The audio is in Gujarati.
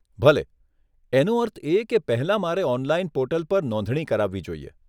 ભલે, એનો અર્થ એ કે પહેલાં મારે ઓનલાઈન પોર્ટલ પર નોંધણી કરાવવી જોઈએ.